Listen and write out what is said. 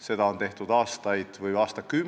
Seda on tehtud aastaid, isegi aastakümneid.